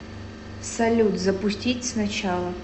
салют запустить сначала